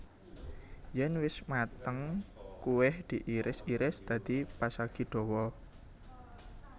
Yen wis mateng kuweh diiris iris dadi pasagi dawa